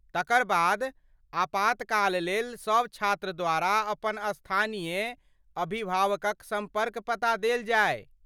तकर बाद, आपातकाल लेल सभ छात्र द्वारा अपन स्थानीय अभिभावकक सम्पर्क पता देल जाय ।